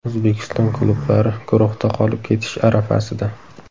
O‘zbekiston klublari guruhda qolib ketish arafasida.